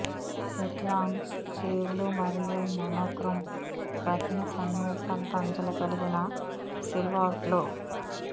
hit long స్లీవ్లు మరియు monochrome ప్రధాన సన్నివేశాలతో అంచులు కలిగిన సిల్హౌట్లు